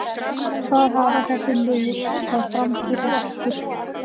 Hvað hafa þessi lið þá fram yfir okkur?